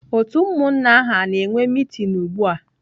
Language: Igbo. Otu umunna ahu ana-enwe meeting ugua?